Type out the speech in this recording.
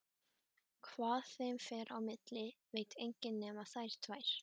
Hvað þeim fer á milli veit enginn nema þær tvær.